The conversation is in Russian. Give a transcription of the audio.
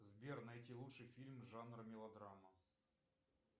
сбер найти лучший фильм жанра мелодрама